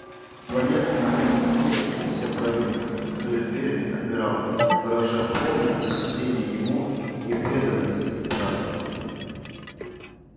планета а вместе с ней и вся провинция открыли двери адмиралу выражая полное почтение ему и преданность императору